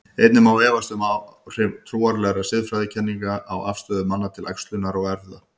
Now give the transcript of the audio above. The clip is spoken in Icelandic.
Einnig má efast um áhrif trúarlegra siðfræðikenninga á afstöðu manna til æxlunar og erfða.